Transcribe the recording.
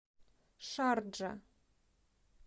шарджа